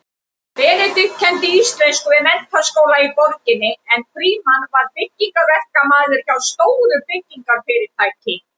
Benedikt kenndi íslensku við menntaskóla í borginni en Frímann var byggingaverkamaður hjá stóru byggingarfyrirtæki.